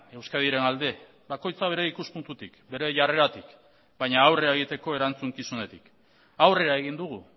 euskadiren alde bakoitza bere ikuspuntutik bere jarreratik baina aurrera egiteko erantzukizunetik aurrera egin dugu